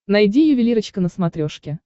найди ювелирочка на смотрешке